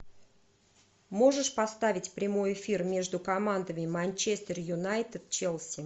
можешь поставить прямой эфир между командами манчестер юнайтед челси